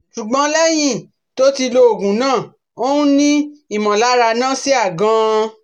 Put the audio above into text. ṣùgbọ́n lẹ́yìn tó ti lo oògùn náà, ó n ni imolara nausea gan